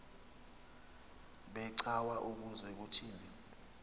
becawa ukuze kuthini